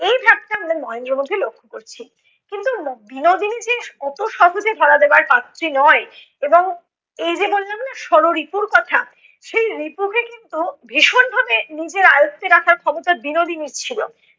সেটা আমরা মহেন্দ্রর মধ্যে লক্ষ করছি। কিন্তু বিনোদিনী যে অত সহজে ধরা দেবার পাত্রী নয় এবং এই যে বললাম না ষড়রিপুর কথা? সে রিপুকে কিন্তু ভীষণভাবে নিজের আয়ত্তে রাখার ক্ষমতা বিনোদিনীর ছিল।